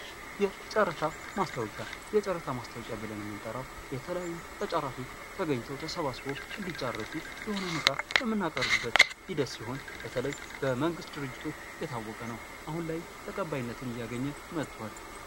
የጨረታ ማስታወቂያ ፦ የጨረታ ማስታወቂያ ብለን የምንጠራው የተለያዩ ተጫራቾች ተገኝተው ተሰባስበው እንዲጫረቱ የሆነን ዕቃ የምናቀርብበት ሂደት ሲሆን በተለይ በመንግስት ድርጅቶች የታወቀ ነው ። አሁን ላይም ተቀባይነትን እያገኘ መጧል ።